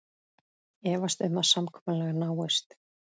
Efast um að samkomulag náist